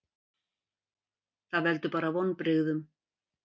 Það veldur bara vonbrigðum.